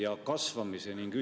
Mis inimõigustest te räägite siin?